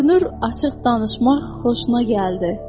Görünür açıq danışmaq xoşuna gəldi.